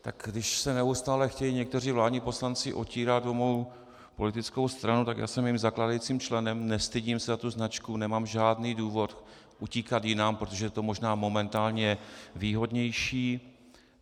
Tak když se neustále chtějí někteří vládní poslanci otírat o mou politickou stranu, tak já jsem jejím zakládajícím členem, nestydím se za tu značku, nemám žádný důvod utíkat jinam, protože je to možná momentálně výhodnější.